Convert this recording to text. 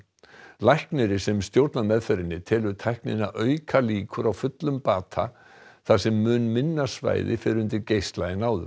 læknirinn sem stjórnar meðferðinni telur tæknina auka líkur á fullum bata þar sem mun minna svæði fer undir geisla en áður